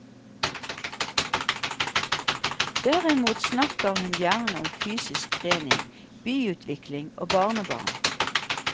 Derimot snakker hun gjerne om fysisk trening, byutvikling og barnebarn.